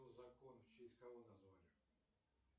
закон в честь кого назвали